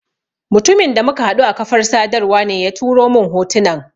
Mutumin da muka haɗu a kafar sadarwa ne ya turo mun hotunan.